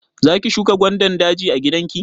Za ki shuka gwandan daji a gida ki?